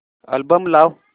album लाव